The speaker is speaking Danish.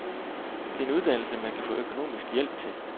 Det er en uddannelse, man kan få økonomisk hjælp til.